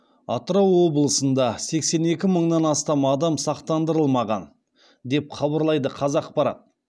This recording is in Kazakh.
атырау облысында сексен екі мыңнан астам адам сақтандырылмаған деп хабарлайды қазақпарат